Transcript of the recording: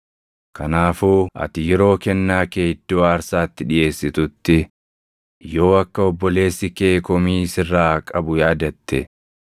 “Kanaafuu ati yeroo kennaa kee iddoo aarsaatti dhiʼeessitutti yoo akka obboleessi kee komii sirraa qabu yaadatte,